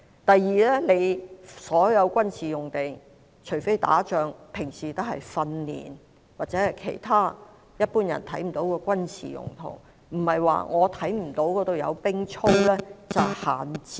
第二，所有軍事用地，除非打仗，平日會用作訓練，或者其他一般人看不到的軍事用途，並不是說看不到有士兵操練就等於閒置。